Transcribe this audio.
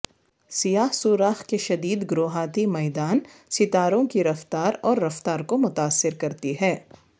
سیاہ سوراخ کے شدید گروہاتی میدان ستاروں کی رفتار اور رفتار کو متاثر کرتی ہے